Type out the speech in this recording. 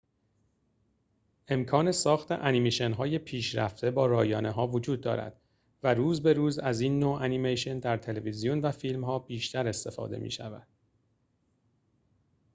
امکان ساخت انیمیشن‌های پیشرفته با رایانه‌ها وجود دارد و روز به روز از این نوع انیمیشن در تلویزیون و فیلم‌ها بیشتر استفاده می‌شود